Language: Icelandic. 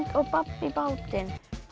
og babb í bátinn